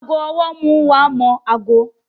Aago ọwọ́ nmú wá mímọ aago